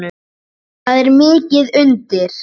Það er mikið undir.